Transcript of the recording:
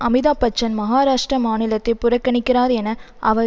அமிதாப்பச்சன் மகாராஷ்டிர மாநிலத்தை புறக்கணிக்கிறார் என அவர்